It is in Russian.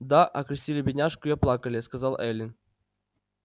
да окрестили бедняжку и оплакали сказала эллин